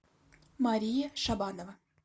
мария шабанова